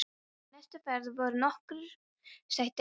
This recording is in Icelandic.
Í næstu ferð voru nokkur sæti laus.